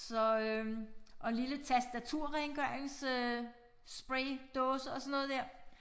Så øh og en lille tastaturrengørinsspraydåse og sådan noget dér